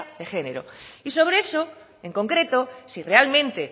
de género y sobre eso en concreto si realmente